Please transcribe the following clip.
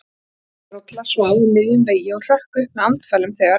Tvílembd rolla svaf á miðjum vegi og hrökk upp með andfælum þegar